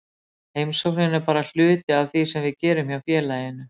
Heimsóknin er bara hluti af því sem við gerum hjá félaginu.